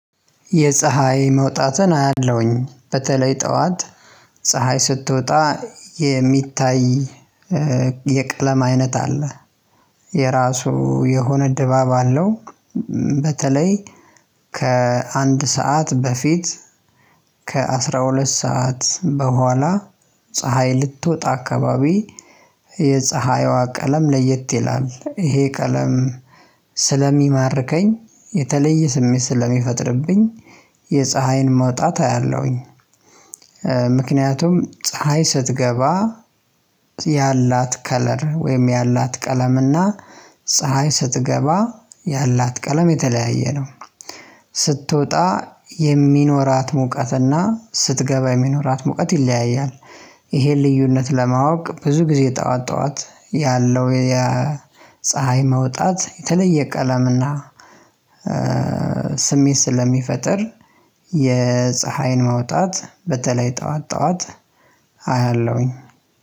የፀሀይ መውጣትን አያለሁኝ በተለይ ጠዋት ፀሀይ ስትወጣ የሚታይ የቀለም አይነት አለ የራሱ የሆነ ድባብ አለው። በተለይ ከአንድ ሰዓት በፊት፤ ከአስራ ሁለት ሰዓት በኋላ ፀሀይ ልትወጣ አካባቢ የፀሀይዋ ቀለም ለየት ይላል ይሄ ቀለም ስለሚማርከኝ፤ የተለየ ስሜት ስለሚፈጥርብኝ የፀሀይን መውጣት አያለሁኝ። ምክንያቱም ፀሀይ ስትገባ ያላት ከለር ወይም ያላት ቀለምና ፀሀይ ስትገባ ያላት ቀለም የተለያየ ነው ስትወጣ የሚኖራት ሙቀትና ስትገባ የሚኖራት ሙቀት ይለያያል። ይሄን ልዩነት ለማወቅ ብዙ ጊዜ ጠዋት ጠዋት ያለው የፀሀይ መውጣት የተለየ ቀለምና ስሜት ስለሚፈጥር የፀሀይን መውጣት በተለይ ጠዋት ጠዋት አያለሁኝ።